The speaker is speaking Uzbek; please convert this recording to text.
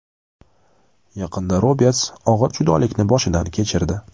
Yaqinda Roberts og‘ir judolikni boshdan kechirdi.